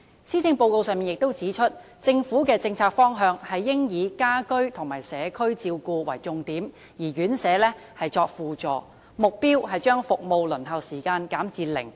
施政報告亦指出，政府的政策方向應以家居和社區照顧為重點，而院舍則作為輔助，目標是把服務的輪候時間減至零。